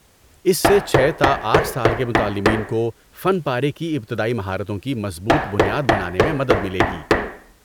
اس سے چھے تا آٹھ سال کے متعلمین کو فن پارے کی ابتدائی مہارتوں کی مضبوط بنیاد بنانے میں مدد ملے گی